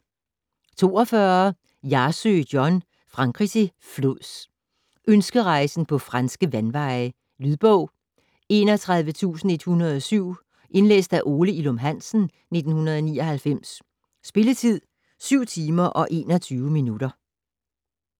42 Hjarsø, John: Frankrig til flods Ønskerejsen på franske vandveje. Lydbog 31107 Indlæst af Ole Ilum Hansen, 1999. Spilletid: 7 timer, 21 minutter.